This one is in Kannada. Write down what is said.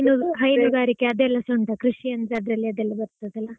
ಹೈನು ~ ಹೈನುಗಾರಿಕೆ ಅದೆಲ್ಲಾಸಾ ಉಂಟಾ ಕೃಷಿ ಅಂದ್ರೆ ಅದೆಲ್ಲ ಅದರಲ್ಲಿ ಬರ್ತದಲ್ಲಾ?